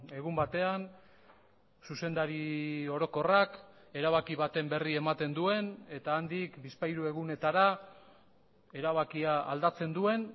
egun batean zuzendari orokorrak erabaki baten berri ematen duen eta handik bizpahiru egunetara erabakia aldatzen duen